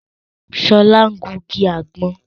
Sola ń gungi àgbọ̀n